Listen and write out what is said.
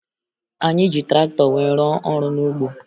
Anyị ji traktọ wee rụọ ọrụ n'ugbo